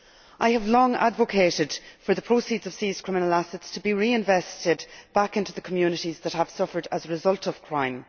I have long advocated for the proceeds of seized criminal assets to be reinvested back into the communities that have suffered as a result of crime.